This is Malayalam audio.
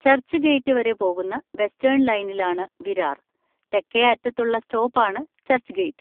ചർച്ച്ഗേറ്റ് വരെ പോകുന്ന വെസ്റ്റേൺ ലൈനിലാണ് വിരാർ; തെക്കേ അറ്റത്തുള്ള സ്റ്റോപ്പ് ആണ് ചർച്ച്ഗേറ്റ്.